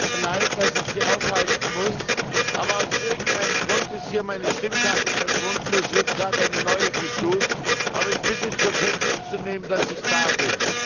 Herr Präsident! Es tut mir leid, dass ich Sie aufhalten muss. Aber aus irgendeinem Grund ist hier meine Stimmkarte verschwunden, es wird gerade eine neue gesucht. Aber ich bitte, zur Kenntnis zu nehmen, dass ich da bin.